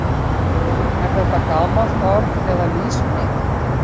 Er þetta gamalt orð eða nýsmíði?